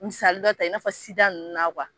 Misali dɔ ta i n'a fɔ sida nunnu na